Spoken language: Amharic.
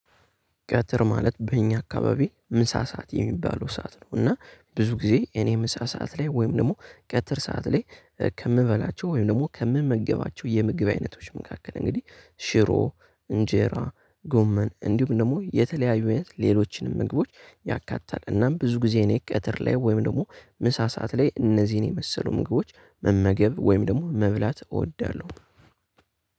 ቀትር ማለት በእኛ አካባቢ ምሳ ሰዓት የሚባለው ሰዓት ነው። እና ብዙ ጊዜ እኔ ምሳ ሰዓት ላይ ወይም ደግሞ ቀጥር ሰዓት ላይ ከምበላቸው ወይም ደግሞ ከምመገባቸው የምግብ አይነቶች መካከል እንግዲህ ሽሮ እንጄራ ጎመን እንዲሁም ደግሞ የተለያዩ እይነት ሌሎችንም ምግቦች ያካታል እናም ብዙ ጊዜ እኔ ቀትር ላይ ወይም ደግሞ ምሳ ሰዓት ላይ እነዚህን የመሰሉ ምግቦች መመገብ ወይም ደግሞ መብላት እወዳለሁ።